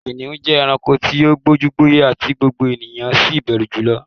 Kìnìún jẹ́ ẹranko tí ó gbójú, gbóyà tí gbogbo ènìyàn sì bẹ̀rù jùlo